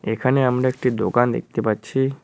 এখানে আমরা একটি দোকান দেখতে পাচ্ছি।